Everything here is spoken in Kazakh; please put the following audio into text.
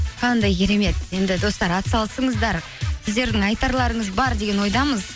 қандай керемет енді достар атсалысыңыздар сіздердің айтарларыңыз бар деген ойдамыз